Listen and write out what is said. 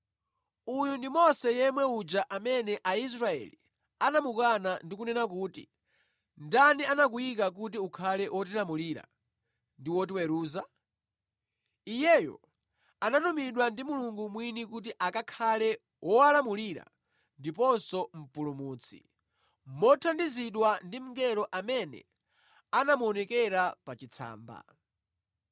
“Uyu ndi Mose yemwe uja amene Aisraeli anamukana ndi kunena kuti, ‘Ndani anakuyika kuti ukhale wotilamulira ndi wotiweruza?’ Iyeyo anatumidwa ndi Mulungu mwini kuti akakhale wowalamulira ndiponso mpulumutsi, mothandizidwa ndi mngelo amene anamuonekera pa chitsamba.